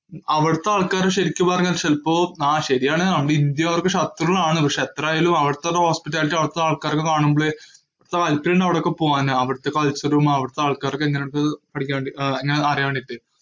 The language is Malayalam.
അവിടത്തെ ആൾക്കാര് ശെരിക്കു പറഞ്ഞാൽ ചെൽപ്പോ ആഹ് ശരിയാണ് നമ്മടെ ഇന്ത്യ അവർക്ക് ശത്രുവാണ്, പക്ഷേ എത്രയായാലും അവിടത്തൊരു hospitality അവിടത്തെ ആൾക്കാരെയൊക്കെ കാണുമ്പോളെ താല്പര്യണ്ട് അവിടൊക്കെ പോവാന്. അവിടത്തെ culture ഉം അവിടത്തെ ആൾക്കാരും ഒക്കെ എങ്ങനിണ്ട്ന്ന് പഠിക്കാൻ വേണ്ടി ഏർ എങ്ങനാന്ന് അറിയാൻ വേണ്ടീട്ട്.